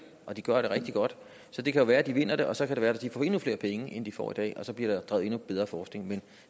og de gør det rigtig godt så det kan jo være at de vinder det og så kan det være at de får endnu flere penge end de får i dag og så bliver drevet bedre forskning men